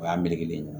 O y'an melekelen